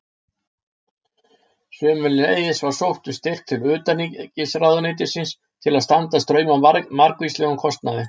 Sömuleiðis var sótt um styrk til utanríkisráðuneytisins til að standa straum af margvíslegum kostnaði.